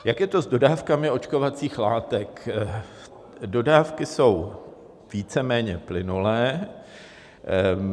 Jak je to s dodávkami očkovacích látek: dodávky jsou víceméně plynulé.